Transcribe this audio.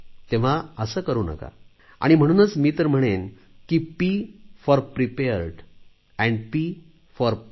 तेव्हा असे करू नका आणि म्हणूनच मी तर म्हणेन की P for prepared and P for play